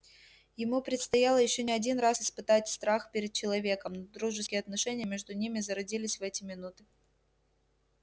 ему предстояло ещё не один раз испытать страх перед человеком но дружеские отношения между ними зародились в эти минуты